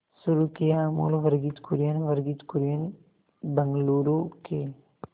शुरू किया अमूल वर्गीज कुरियन वर्गीज कुरियन बंगलूरू के